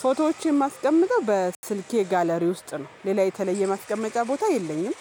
ፎቶዎች የማስቀምጠው በስልኬ ጋለሪ ውስጥ ነው ሌላ የተለየ ማስቀመጫ ቦታ የለኝም።